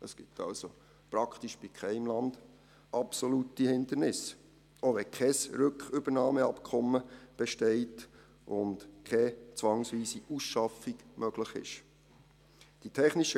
Es gibt also praktisch bei keinem Land absolute Hindernisse, auch wenn kein Rückübernahmeabkommen besteht und keine zwangsweise Ausschaffung möglich ist.